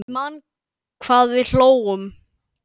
Ég man hvað við hlógum.